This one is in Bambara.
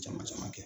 Jama caman kɛ